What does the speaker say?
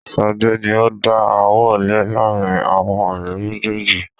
Sade ni ó dá ááwọ̀ lẹ laarin awọn ọ̀rẹ́ méjèèjì